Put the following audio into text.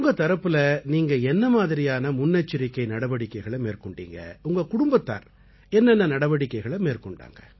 உங்க தரப்புல நீங்க என்னமாதிரியான முன்னெச்சரிக்கை நடவடிக்கைகளை மேற்கொண்டீங்க உங்க குடும்பத்தார் என்னஎன்ன நடவடிக்கைகளை மேற்கொண்டாங்க